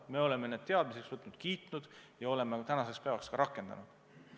Me oleme need teadmiseks võtnud, heaks kiitnud ja tänaseks päevaks ka rakendanud.